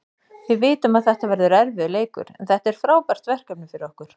Við vitum að þetta verður erfiður leikur, en þetta er frábært verkefni fyrir okkur.